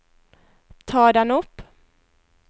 ta den opp